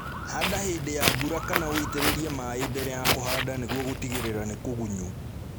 Handa hĩndĩ ya mbura kana ũitĩrĩrie maĩĩ mbere ya kũhanda nĩguo gũtigĩrĩra nĩ kũgunyu